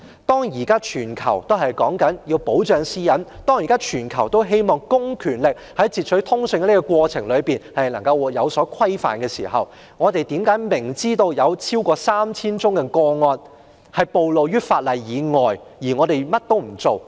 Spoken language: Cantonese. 當全球現時都強調要保障私隱，希望公權力在截取通訊的過程中受到規範之際，我們為何明知有超過 3,000 宗個案不受法例保障，卻甚麼都不做？